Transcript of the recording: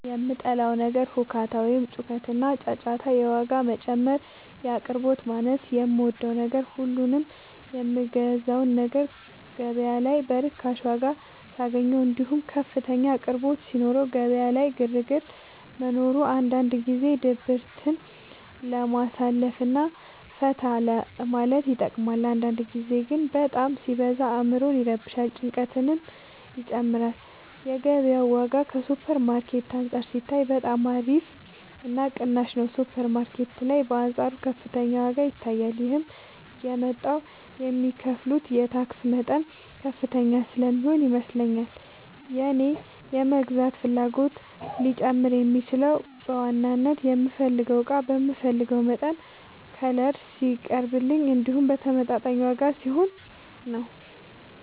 የምጠላው ነገር ሁካታ ወይም ጩኸትና ጫጫታ የዋጋ መጨመር የአቅርቦት ማነስ የምወደው ነገር ሁሉንም የምገዛውን ነገር ገበያ ላይ በርካሽ ዋጋ ሳገኘው እንዲሁም ከፍተኛ አቅርቦት ሲኖረው ገበያ ላይ ግርግር መኖሩ አንዳንድ ጊዜ ድብርትን ለማሳለፍ እና ፈታ ለማለት ይጠቅማል አንዳንድ ጊዜ ግን በጣም ሲበዛ አዕምሮን ይረብሻል ጭንቀትንም ይጨምራል የገበያው ዋጋ ከሱፐር ማርኬት አንፃር ሲታይ በጣም አሪፍ እና ቅናሽ ነው ሱፐር ማርኬት ላይ በአንፃሩ ከፍተኛ ዋጋ ይታያል ይህም የመጣው የሚከፍሉት የታክስ መጠን ከፍተኛ ስለሚሆን ይመስለኛል የእኔ የመግዛት ፍላጎቴ ሊጨምር የሚችለው በዋናነት የምፈልገው እቃ በምፈልገው መጠንና ከለር ሲቀርብልኝ እንዲሁም በተመጣጣኝ ዋጋ ሲሆን ነው።